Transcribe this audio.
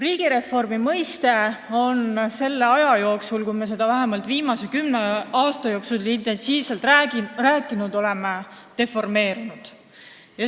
Riigireformi mõiste on selle aja, vähemalt viimase kümne aasta jooksul, kui me seda intensiivselt kasutanud oleme, deformeerunud.